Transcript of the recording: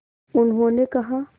उन्होंने कहा